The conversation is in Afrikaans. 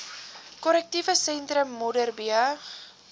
korrektiewe sentrum modderbee